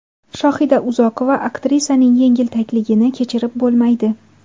Shohida Uzoqova: Aktrisaning yengiltakligini kechirib bo‘lmaydi.